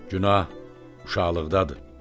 Günah uşaqlıqdadır.